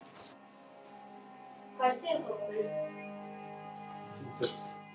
Það fyrsta sem ég man eftir að hafa ætlað mér að verða var læknir.